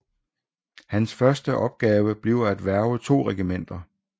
Hans første opgave bliver at hverve to regimenter